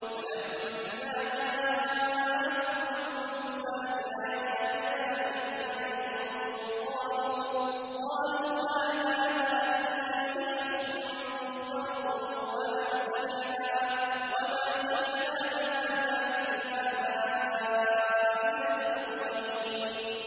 فَلَمَّا جَاءَهُم مُّوسَىٰ بِآيَاتِنَا بَيِّنَاتٍ قَالُوا مَا هَٰذَا إِلَّا سِحْرٌ مُّفْتَرًى وَمَا سَمِعْنَا بِهَٰذَا فِي آبَائِنَا الْأَوَّلِينَ